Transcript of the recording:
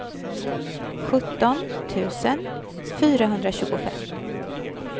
sjutton tusen fyrahundratjugofem